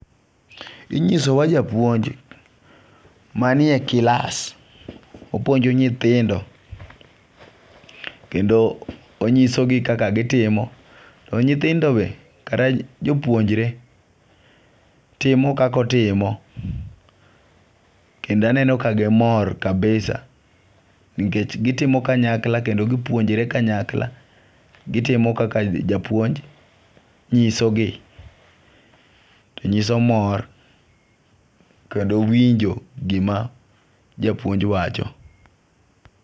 Inyisowa japuonj, manie klass opuonjo nyiithindo, kendo onyisogi kaka gitimo to nyithindogie kata jopuonjre, timo kaka otimo, kendo aneno ka gimor kabisa, nikech gitimo kanyakla kendo gipuonjre kanyakla, gitimo kaka japunjo nyisogi nyiso mor kendo winjo gima japuonj wacho.